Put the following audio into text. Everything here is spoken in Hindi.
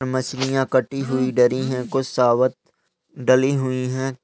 मछलियां कटी हुई डली हैं कुछ साबुत डली हुई हैं।